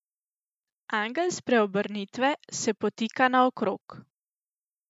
Angel spreobrnitve se potika naokrog.